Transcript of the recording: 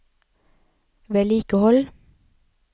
vedlikehold